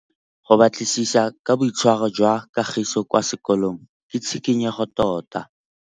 Go batlisisa ka boitshwaro jwa Kagiso kwa sekolong ke tshikinyêgô tota.